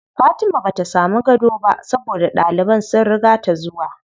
Fatima bata samu gado ba saboda ɗaliban sun riga ta zuwa.